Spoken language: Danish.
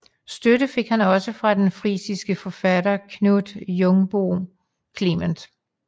Støtte fik han også fra den frisiske forfatter Knut Jungbohn Clement